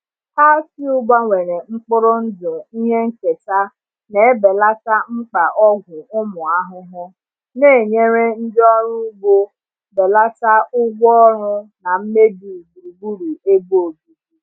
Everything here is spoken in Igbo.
Cowpea gbanwere mkpụrụ ndụ ihe nketa na-ebelata mkpa ọgwụ ụmụ ahụhụ, na-enyere ndị ọrụ ugbo belata ụgwọ ọrụ na mmebi gburugburu ebe obibi.